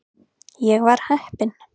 Ég var heppinn.